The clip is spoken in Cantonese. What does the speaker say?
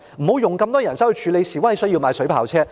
不想用那麼多人手處理示威，所以要購買水炮車。